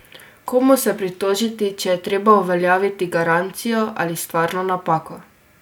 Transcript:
Komu se pritožiti, če je treba uveljavljati garancijo ali stvarno napako?